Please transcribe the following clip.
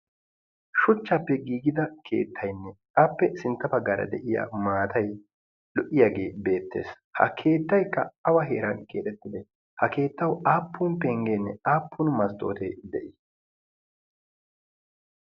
shuuchchappe gigida keettaynne appe sintta baggaara de'iyaa maatay lo"iyaagee beettees. ha keettaykka awa heeran kexxeettidee? ha keettawu appun penggeenne aapun masttootee de"ii?